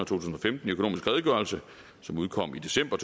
tusind og femten i økonomisk redegørelse som udkom i december